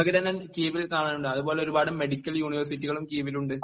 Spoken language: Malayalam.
കീവീൽ സാധാനങ്ങളുണ്ട് അത്പോലെ ഒരു പാട് മെഡിക്കൽ യൂണിവേർസിറ്റികളും കീവീലുണ്ട്